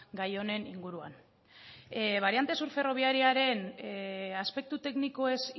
gai honen inguruan bariante sur ferrobiararen aspektu teknikoez